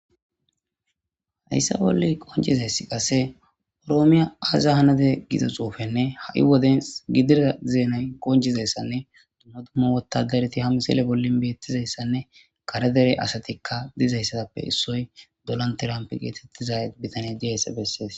Haysa bolla qoncizaysi qase oromoya aza hanide giza cuufenne ha'i wodes gidida zenay qoncidaysanne dumma dumma wotadarati ha misile bolli betizaysanne kare dera asati dizaysape issoy donal tramp gizaysa beses